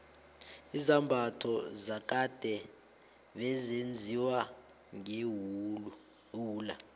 izambatho zakade bezenziwa ngewula